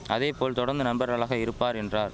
அதேபோல் தொடந்து நண்பர்களாக இருப்பார் என்றார்